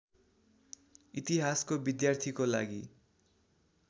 इतिहासको विद्यार्थीको लागि